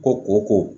Ko ko ko